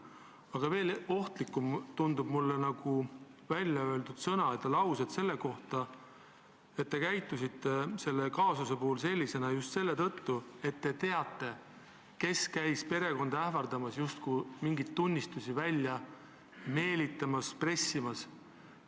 Aga veel ohtlikumad tunduvad mulle sõnad ja laused selle kohta, et te käitusite selle kaasuse puhul selliselt just selle tõttu, et te teate, kes käis perekonda ähvardamas, justkui mingeid tunnistusi välja meelitamas või pressimas.